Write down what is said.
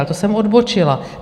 Ale to jsem odbočila.